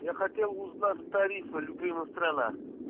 я хотел узнать тариф любимая страна